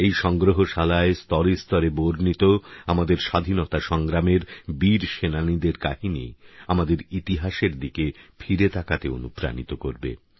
এই সংগ্রহশালায় স্তরেস্তরে বর্ণিত আমাদের স্বাধীনতা সংগ্রামের বীর সেনানীদের কাহিনি আমাদের ইতিহাসের দিকে ফিরে তাকাতে অনুপ্রাণিত করবে